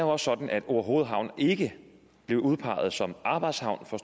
også sådan at orehoved havn ikke blev udpeget som arbejdshavn for